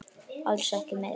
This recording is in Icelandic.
Alls ekki meira.